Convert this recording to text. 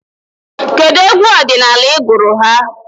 Kedụ egwu ọdịnala ị gụrụ ha?